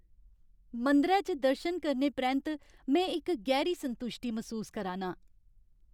मंदरै च दर्शन करने परैंत्त में इक गैह्री संतुश्टी मसूस करा ना आं।